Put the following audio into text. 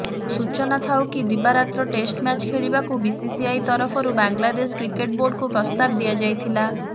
ସୂଚନାଥାଉକି ଦିବାରାତ୍ର test match ଖେଳିବାକୁ ବିସିସିଆଇ ତରଫରୁ ବାଂଲାଦେଶ କ୍ରିକେଟ୍ ବୋର୍ଡକୁ ପ୍ରସ୍ତାବ ଦିଆଯାଇଥିଲା